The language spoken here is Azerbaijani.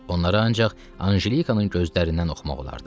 Onlara ancaq Anjelikanın gözlərindən oxumaq olardı.